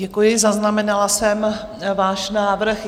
Děkuji, zaznamenala jsem váš návrh.